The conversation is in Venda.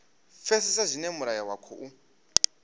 pfesesa zwine mulayo wa khou